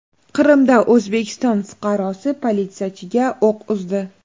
Qrimda O‘zbekiston fuqarosi politsiyachiga o‘q uzdi.